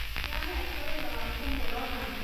Nĩ ahetwo wĩra wa kũmũrora.